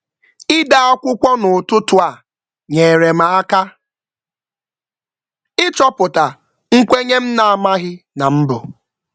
Ide akwụkwọ n’ụtụtụ a nyere m aka ịchọpụta nkwenye m na-amaghị na m bu.